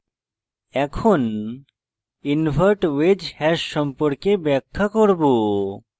এখন invert wedge hash সম্পর্কে ব্যাখ্যা করব